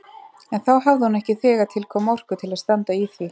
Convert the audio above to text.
En þá hafði hún ekki þegar til kom orku til að standa í því.